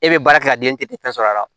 E bɛ baara kɛ a den tɛ fɛn sɔrɔ a la